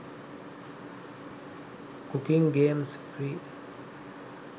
cooking games free